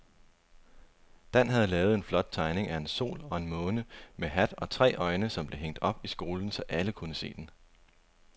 Dan havde lavet en flot tegning af en sol og en måne med hat og tre øjne, som blev hængt op i skolen, så alle kunne se den.